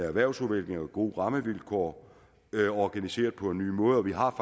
erhvervsudvikling og gode rammevilkår organiseret på en ny måde og vi har